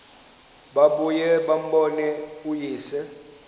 babuye bambone uyise